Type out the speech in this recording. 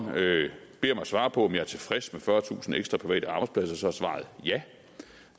beder mig svare på om jeg er tilfreds med fyrretusind ekstra private arbejdspladser er svaret ja